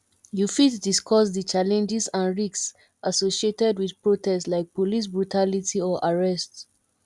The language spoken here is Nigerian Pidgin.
you fit discuss di challenges and risks associated with protest like police brutality or arrest